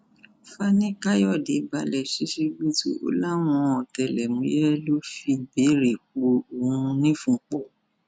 fanikàyọdé balẹ ṣíṣíbùtú ó láwọn ọtẹlẹmúyẹ ló fìbéèrè pọ òun nífun pọ